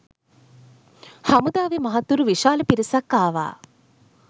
හමුදාවෙ මහත්තුරු විශාල පිරිසක් ආවා